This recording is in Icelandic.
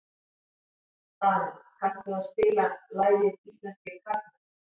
Dana, kanntu að spila lagið „Íslenskir karlmenn“?